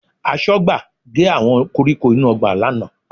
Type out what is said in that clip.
Aṣọ́gbà gé àwọn koríko inú ọgbà lánàá